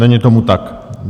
Není tomu tak.